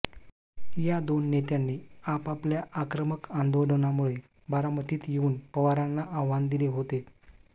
या दोन नेत्यांनी आपापल्या आक्रमक आंदोलनामुळे बारामतीत येऊन पवारांना आव्हान दिले होते